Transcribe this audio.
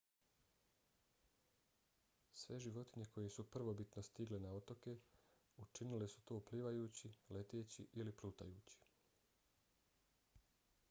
sve životinje koje su prvobitno stigle na otoke učinile su to plivajući leteći ili plutajući